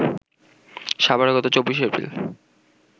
সাভারে গত ২৪শে এপ্রিল